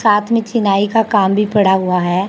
साथ में चिनाई का काम भी पड़ा हुआ है।